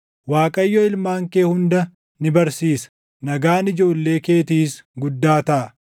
Waaqayyo ilmaan kee hunda ni barsiisa; nagaan ijoollee keetiis guddaa taʼa.